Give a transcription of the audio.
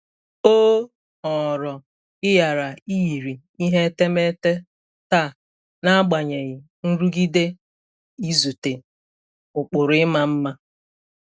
O họọrọ ịghara iyiri ihe etemeete taa n'agbanyeghị nrụgide izute ụkpụrụ ịma mma.